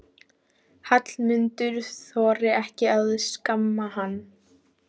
Hallmundur þorir ekki að skamma hann.